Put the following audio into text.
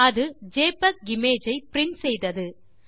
அது ஜெபிஇஜி Imageஐ பிரின்ட் செய்தது